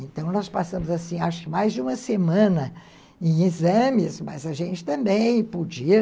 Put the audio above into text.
Então nós passamos, acho que mais de uma semana em exames, mas a gente também podia...